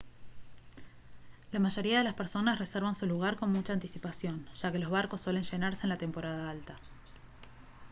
la mayoría de las personas reservan su lugar con mucha anticipación ya que los barcos suelen llenarse en la temporada alta